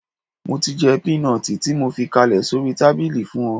Mo ti jẹ́ pínọtì tí mo fi kalẹ̀ sórí tábìlì fún ọ